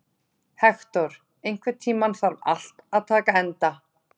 Hektor, einhvern tímann þarf allt að taka enda.